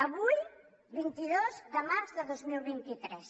avui vint dos de març de dos mil vint tres